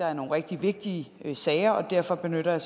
er nogle rigtig vigtige sager og derfor benytter jeg